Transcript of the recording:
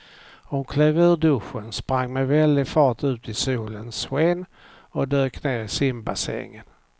Hon klev ur duschen, sprang med väldig fart ut i solens sken och dök ner i simbassängen.